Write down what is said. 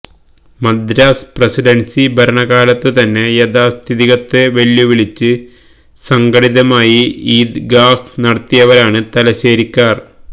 Madras presidency ഭരണ കാലത്തുതന്നെ യാഥാസ്തികത്വത്തെ വെല്ലുവിളിച്ച് സംഘടിതമായി ഈദ്ഗാഹ് നടത്തിയവരാണ് തലശ്ശേരിക്കാര്